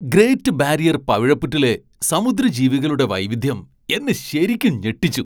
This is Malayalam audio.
ഗ്രേറ്റ് ബാരിയർ പവിഴപ്പുറ്റിലെ സമുദ്രജീവികളുടെ വൈവിധ്യം എന്നെ ശരിക്കും ഞെട്ടിച്ചു.